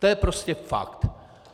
To je prostě fakt.